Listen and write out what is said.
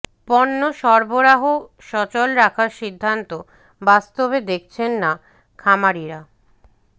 পণ্য সরবরাহ সচল রাখার সিদ্ধান্ত বাস্তবে দেখছেন না খামারিরা